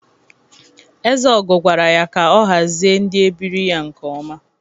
Ezeogo gwara ya ka ọ hazie ndị ebiri ya nke ọma!